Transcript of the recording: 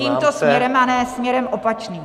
- tímto směrem a ne směrem opačným.